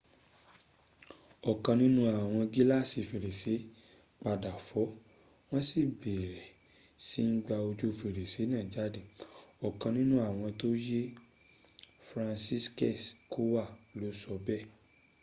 ọ̀kan nínú àwọn gíláàsì fèrèsé padà fọ́ wọ́n sì bẹ̀rẹ̀ sí ń gba ojù fèrèsé náà jáde,” ọ̀kan nínú àwọn tó yè franciszek kowal ló sọ bẹ́ẹ̀